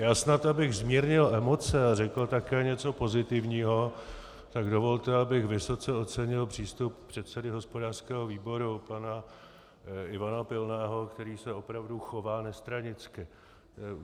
Já snad abych zmírnil emoce a řekl také něco pozitivního, tak dovolte, abych vysoce ocenil přístup předsedy hospodářského výboru pana Ivana Pilného, který se opravdu chová nestranicky.